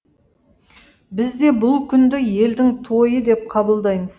біз де бұл күнді елдің тойы деп қабылдаймыз